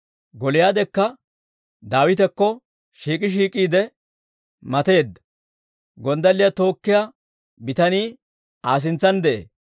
Gooliyaadekka Daawitakko shiik'i shiik'iide matattedda; gonddalliyaa tookkiyaa bitanii Aa sintsan de'ee.